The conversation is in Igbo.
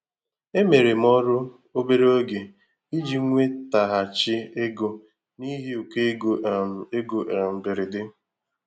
Emere m ọrụ obere oge iji nwetaghachi ego n'ihi ụkọ ego um ego um mberede.